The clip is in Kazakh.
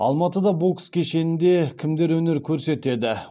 алматыда бокс кешенінде кімдер өнер көрсетеді